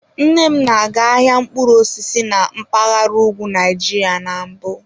Nne m na-aga ahịa mkpụrụ osisi na mpaghara ugwu Nigeria na mbụ.